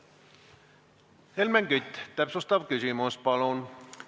Helmen Kütt, täpsustav küsimus, palun!